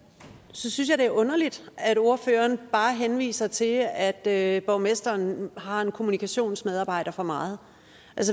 synes jeg det er underligt at ordføreren bare henviser til at borgmesteren har en kommunikationsmedarbejder for meget